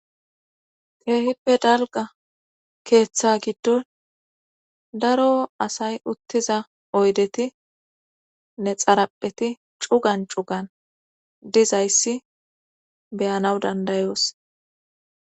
keehippe dalga keeththa giddon daro asay uttiza oydeti ne xarapheti cugan cugan dizayssi beyanaw dandayoos